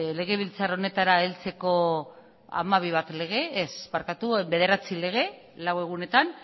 legebiltzar honetara heltzeko bederatzi lege lau egunetan